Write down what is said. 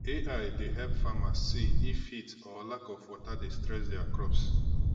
ai dey help farmers see if heat or lack of water dey stress their crops